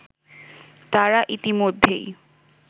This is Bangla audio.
তারা ইতিমধ্যেই